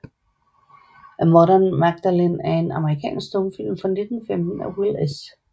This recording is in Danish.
A Modern Magdalen er en amerikansk stumfilm fra 1915 af Will S